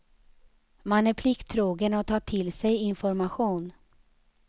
Man är plikttrogen och tar till sig information.